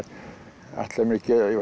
ætlaði mér